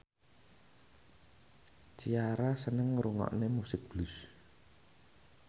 Ciara seneng ngrungokne musik blues